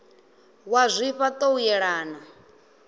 wa zwifha ṱo u yelana